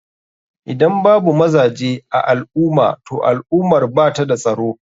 Idan babu mazaje a alumah toh al ummar bata da tsaro.